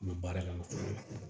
N bɛ baara la fɔlɔ